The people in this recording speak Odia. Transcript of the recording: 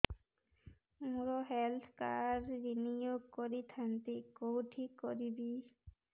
ମୋର ହେଲ୍ଥ କାର୍ଡ ରିନିଓ କରିଥାନ୍ତି କୋଉଠି କରିବି